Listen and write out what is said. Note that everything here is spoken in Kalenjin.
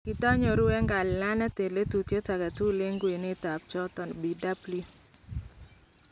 kitakinyoruu ak kalilaneet en lelutiet agetukul en kwenut ab choton , Bw